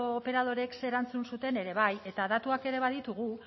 operadoreek zer erantzun zuten ere bai eta datuak ere baditugu